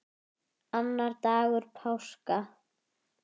Annar dagur páska.